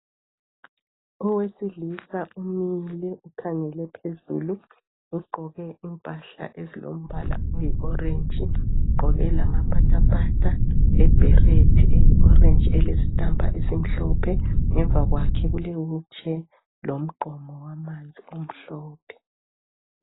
Owesilisa umile ukhangele phezulu ugqoke impahla ezilombala oyi orange ugqoke lamapatapata le beret eyi orange elesitampa esimhlophe Ngemva kwakhe kule wheel chair lomgqomo wamanzi omhlophe